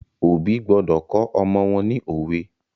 Òbí gbọdọ̀ kọ́ ọmọ wọ́n ni òwe.